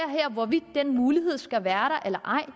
hvorvidt den mulighed skal være der eller ej